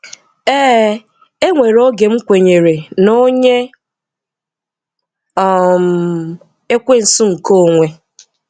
Ee, e nweré ogé m̀ kwènyèrè n’ọ̀nyè um ekwènsù nke onwè.